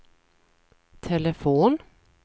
telefon